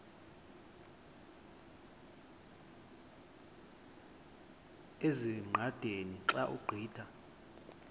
ezingqaqeni xa ugqitha